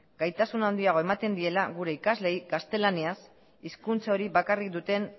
gaitasun handiagoa ematen diela gure ikasleei gaztelaniaz hizkuntza hori bakarrik duten